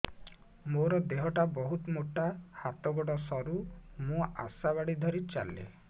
ମୋର ଦେହ ଟା ବହୁତ ମୋଟା ହାତ ଗୋଡ଼ ସରୁ ମୁ ଆଶା ବାଡ଼ି ଧରି ଚାଲେ